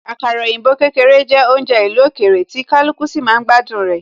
Àkàrà òyìnbó kékeré jẹ́ oúnjẹ ìlú òkèèrè, tí kaluku sì máa ń gbádùn rẹ